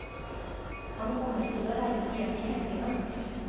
Han kommer til å reise hjem i helgene.